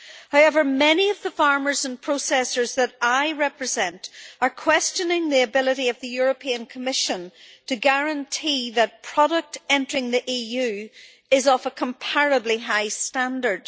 However, many of the farmers and processors that I represent are questioning the ability of the Commission to guarantee that product entering the EU is of a comparably high standard.